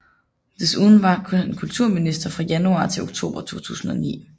Desuden var han kulturminister fra januar til oktober 2009